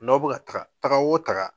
N'aw bɛ ka taga taga wo taga.